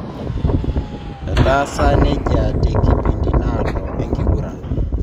Etasa nejia tenkipindi nadoo enkiguran.